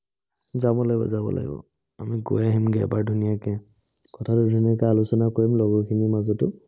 যাব লাগিব যাব লাগিব। আমি গৈ আঁহিম গে এবাৰ ধুনীয়াকে। কথা খিনি আলোচনা কৰিম লগৰ খিনিৰ মাজতে।